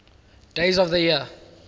days of the year